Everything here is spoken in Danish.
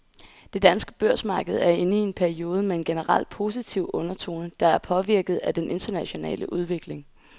Det danske børsmarked er inde i en periode med en generelt positiv undertone, der er påvirket af den internationale udvikling.